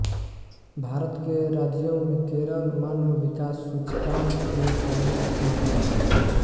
भारत के राज्यों में केरल मानव विकास सूचकांक में पहले स्थान पर आता है